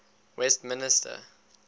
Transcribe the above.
westmister